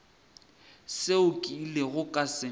seo ke ilego ka se